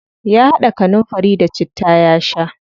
Ya haɗa kanunfari da citta ya sha.